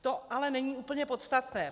To ale není úplně podstatné.